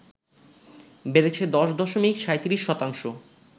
বেড়েছে ১০ দশমিক ৩৭ শতাংশ